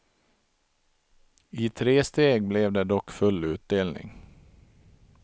I tresteg blev det dock full utdelning.